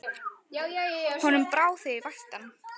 Honum brá þegar ég vakti hann.